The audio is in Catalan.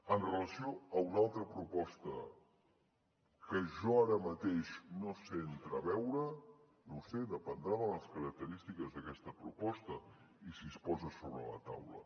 amb relació a una altra proposta que jo ara mateix no sé entreveure no ho sé dependrà de les característiques d’aquesta proposta i si es posa sobre la taula